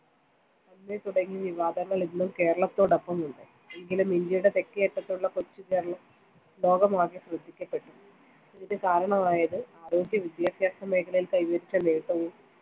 അന്ന് തുടങ്ങിയ വിവാദങ്ങൾ ഇന്ന് കേരളത്തോടൊപ്പം ഉണ്ട്, എങ്കിലും ഇന്ത്യയുടെ തെക്കേയറ്റത്തുള്ള കൊച്ചുകേരളം ലോകമാകെ ശ്രദ്ധിക്കപ്പെട്ടു. അതിനു കാരണമായത് ആരോഗ്യ-വിദ്യാഭ്യാസ മേഖലയിൽ കൈവരിച്ച നേട്ടവും